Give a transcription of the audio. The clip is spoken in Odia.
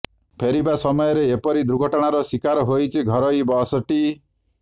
ଫେରିବା ସମୟରେ ଏପରି ଦୁର୍ଘଟଣାର ଶିକାର ହୋଇଛି ଘରୋଇ ବସ୍ ଟି